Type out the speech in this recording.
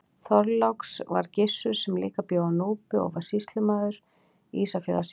Þorláks var Gissur sem líka bjó á Núpi og var sýslumaður Ísafjarðarsýslu.